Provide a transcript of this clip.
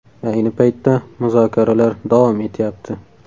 Ayni paytda muzokaralar davom etyapti.